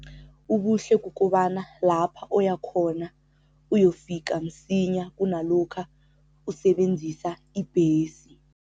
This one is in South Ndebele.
Ubuhle kukobana lapha oya khona uyofika msinya kunalokha usebenzisa ibhesi.